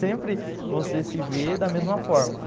Sempre você se vê da mesma forma.